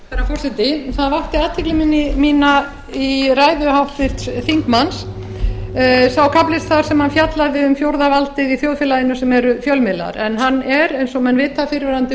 forseti það vakti athygli mína í ræðu háttvirts þingmanns sá kafli þar sem hann fjallaði um fjórða valdið í þjóðfélaginu sem eru fjölmiðlar en hann er eins og menn vita fyrrverandi